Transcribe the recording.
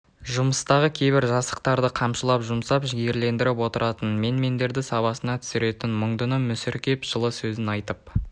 жұмыстағы кейбір жасықтарды қамшылап жұмсап жігерлендіріп отыратын мен-мендерді сабасына түсіретін мұңдыны мүсіркеп жылы сөзін айтып